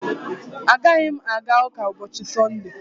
Agaghị m aga ụka ụbọchị Sọnde